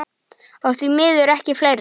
Og því miður miklu fleiri.